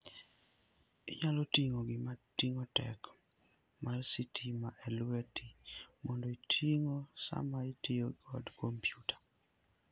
Inyalo ting'o gima ting'o teko mar sitima e lweti mondo itigo sama itiyo gi kompyuta.